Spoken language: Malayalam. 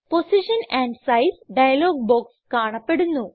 position and size dialog box കാണപ്പെടുന്നു